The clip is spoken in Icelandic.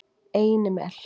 Einimel